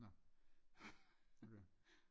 Nå okay